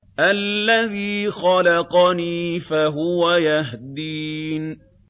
الَّذِي خَلَقَنِي فَهُوَ يَهْدِينِ